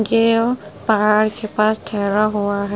ये पहाड़ के पास ठहरा हुआ है ।